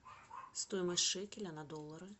стоимость шекеля на доллары